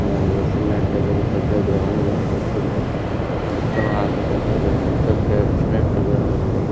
చూస్తున్నట్లైతే ఒక పెద్ద గ్రౌండ్ కనిపిస్తుంది పక్కన ఆకు పచ్చగా వచ్చినట్టుగా ఉంది.